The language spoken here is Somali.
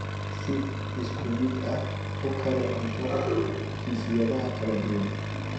Si isku mid ah u kari cuntada jinsiyadaha kala duwan.